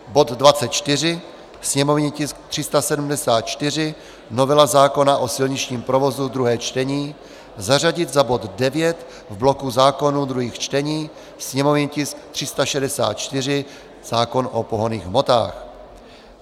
Bod 24, sněmovní tisk 374 - novela zákona o silničním provozu, druhé čtení, zařadit za bod 9 v bloku zákonů druhých čtení, sněmovní tisk 364 - zákon o pohonných hmotách.